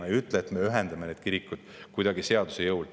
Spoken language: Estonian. Me ei ütle, et me ühendame need kirikud kuidagi seaduse jõul.